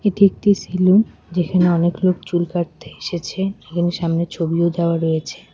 এটি একটি সেলুন যেখানে অনেক লোক চুল কাটতে এসেছে এখানে সামনে ছবিও দেওয়া রয়েছে।